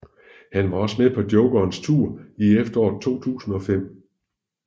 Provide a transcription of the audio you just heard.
Han var også med på Jokerens tour i efteråret 2005